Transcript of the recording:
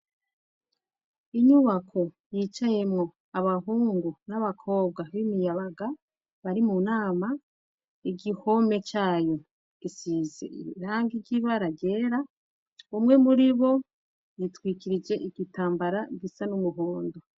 Inyubako yicayemo abahungu n'abakobwa b'imiyabaga bari mu nama igihome cayo gisize irangi ry'ibara ryera umwe muri bo yitwikirije igitambara gisa n'umuhondo.